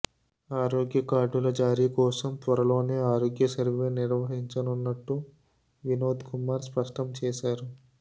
ఆరోగ్య కార్డుల జారీ కోసం త్వరలోనే ఆరోగ్య సర్వే నిర్వహించనున్నట్టు వినోద్ కుమార్ స్పష్టంచేశారు